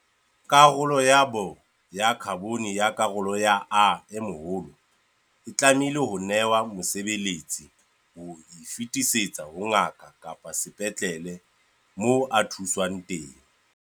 Karolo ya B-kopi ya khabone ya karolo ya Ae tlamehile ho nehwa mosebeletsi ho e fetisetsa ho ngaka kapa sepetlele moo a thuswang teng.